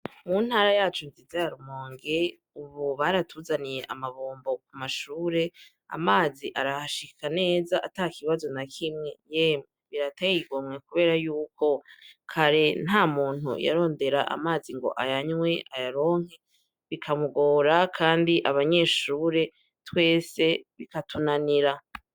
Mu ntara nziza yacu ya Rumonge Ubu baratuzaniye amabombo ku mashure, amazi arahashika neza atakibazo nta kimwe, yemwe birateye igomwe kubera yuko kare nta muntu yarondera amazi ngo ayanywe ayaronke bikamugora kandi abanyeshure twese bikatunanira.